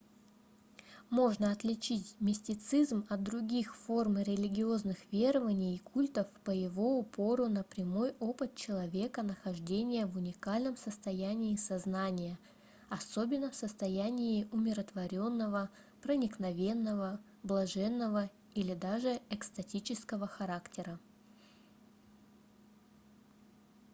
можно отличить мистицизм от других форм религиозных верований и культов по его упору на прямой опыт человека нахождения в уникальном состоянии сознания особенно в состоянии умиротворённого проникновенного блаженного или даже экстатического характера